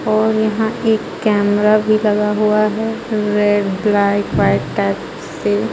और यहां एक कैमरा भी लगा हुआ है पूरे ब्राइट व्हाइट टाइप से.